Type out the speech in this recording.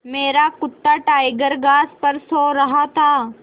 मेरा कुत्ता टाइगर घास पर सो रहा था